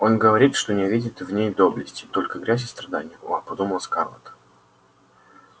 он говорит что не видит в ней доблести только грязь и страдания о подумала скарлетт